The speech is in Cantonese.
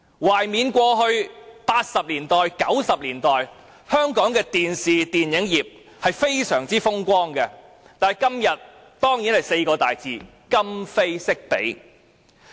"懷緬過去，在1980年代、1990年代，香港的電視、電影業實在非常風光，但今天只落得這4個大字——今非昔比。